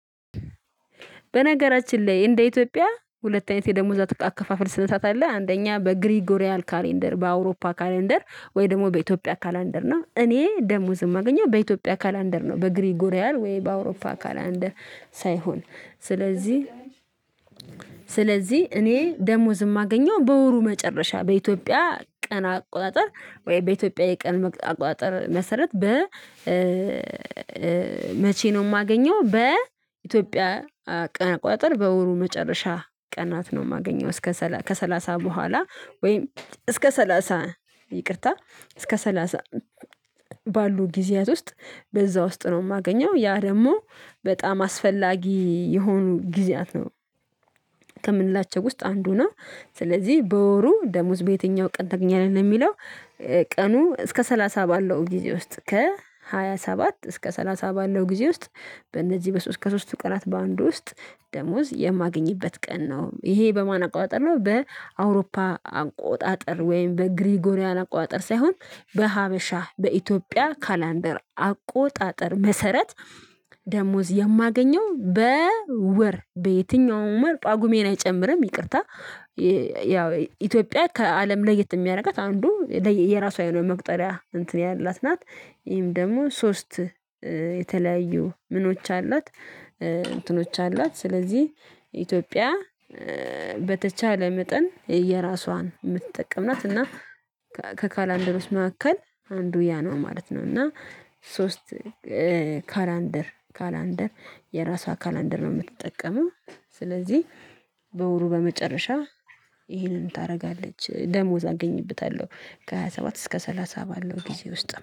በነገራችን ላይ እንደ ኢትዮጵያ ሁለት አይነት የደሞዝ አካፋፈል ስነስርአት አለ። አንደኛ በግሪጎሪያል ካሌንደር በአውሮፓ ካሌንደር ወይ ደግሞ በኢትዮጵያ ካሌንደር እና እኔ ደሞዝ የማገኘው በኢትዮጵያ ካሌንደር ነው። በግሪጉሪያል ወይ በአውሮፓ ካሌንደር ሳይሆን። ስለዚህ ስለዚህ እኔ ደሞዝ የማገኘው በወሩ መጨረሻ በኢትዮጵያ ቀን አቆጣጠር ወይ በኢትዮጵያ የቀን አቆጣጠር መሰረት በ መቼ ነው የማገኘው በኢትዮጵያ ቀን አቆጣጠር በወሩ መጨረሻ ቀናት ነው የማገኘው እስከ ከሰላሳ በኋላ ወይም እስከ ሰላሳ ይቅርታ እስከ ሰላሳ ባሉ ጊዜያት ውስጥ በዛ ውስጥ ነው የማገኘው። ያ ደግሞ በጣም አስፈላጊ የሆኑ ጊዜያት ነው ከምንላቸው ውስጥ አንዱ ነው። ስለዚህ "በወሩ ደሞዝ በየትኛው ቀን ታገኛለህ?" የሚለው ቀኑ እስከ ሰላሳ ባለው ጊዜ ውስጥ ከሃያ ሰባት እስከ ሰላሳ ባለው ጊዜ ውስጥ በእነዚህ በሶስት ከሶስቱ ቀናት በአንዱ ውስጥ ደሞዝ የማገኝበት ቀን ነው። ይሄ በማን አቆጣጠር ነው በአውሮፓ አቆጣጠር ወይም በግሪጎሪያን አቆጣጠር ሳይሆን በኢትዮጵያ ካላንደር አቆጣጠር መሰረት ደሞዝ የማገኘው በወር በየትኛውም ወር ጳጉሜን አይጨምርም። ይቅርታ ያው ኢትዮጵያ ከአለም ለየት የሚያደርጋት አንዱ የራሷ የመቁጠሪያ እንትን ያላት ናት። ይሄም ደግሞ ሶስት የተለያዩ ምኖች አሏት እንትኖች አሏት። ስለዚህ ኢትዮጵያ በተቻለ መጠን የራሷን የምትጠቀም ናት እና ከካላንደሮዎች መካከል አንዱ ያ ነው ማለት ነው። እና ሶስት ካላንደር ካላንደር የራሷ ካላንደር ነው የምትጠቀመው። ስለዚህ በወሩ በመጨረሻ ይሄንን ታደርጋለች። ደሞዝ አገኝበታለሁ ከሃያ ሰባት እስከ ሰላሳ ባለው ጊዜ ውስጥ